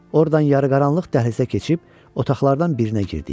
Oradan yarıqaranlıq dəhlizə keçib otaqlardan birinə girdik.